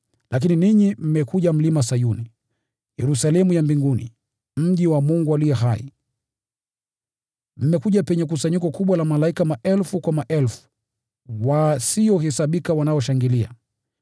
Lakini ninyi mmekuja Mlima Sayuni, Yerusalemu ya mbinguni, mji wa Mungu aliye hai. Mmekuja penye kusanyiko kubwa la malaika maelfu kwa maelfu wasiohesabika wanaoshangilia,